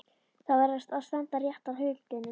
Það verður að standa rétt að hlutunum.